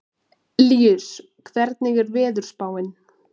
Líus, hvernig er veðurspáin?